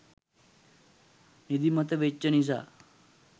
නිදිමත වෙච්චි නිසා.